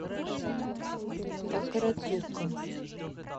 такарадзука